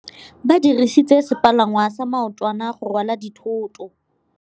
Ba dirisitse sepalangwasa maotwana go rwala dithôtô.